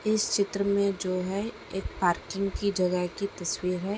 इस चित्र मे जो है एक पार्किंग की जगह की तस्वीर है।